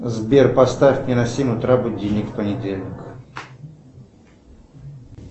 сбер поставь мне на семь утра будильник в понедельник